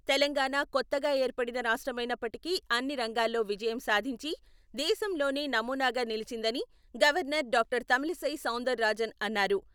తెలంగాణా కొత్తగా ఏర్పడిన రాష్ట్రమైనప్పటికి అన్నిరంగాల్లో విజయం సాధించి, దేశంలోనే నమూనాగా నిలిచిందని గవర్నర్ డా.తమిళిసై సౌందర్ రాజన్ అన్నారు.